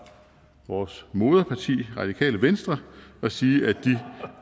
vores moderparti radikale venstre og sige at de